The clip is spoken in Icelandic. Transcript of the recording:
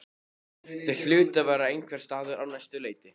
Þau hlutu að vera einhvers staðar á næsta leiti.